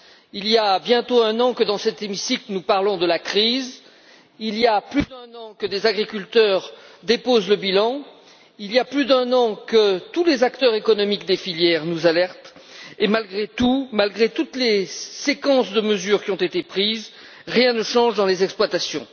Il y a bientôt un an que, dans cet hémicycle, nous parlons de la crise, il y a plus d'un an que des agriculteurs déposent le bilan, il y a plus d'un an que tous les acteurs économiques des filières nous alertent et, malgré tout, malgré toutes les séries de mesures qui ont été prises, rien ne change dans les exploitations.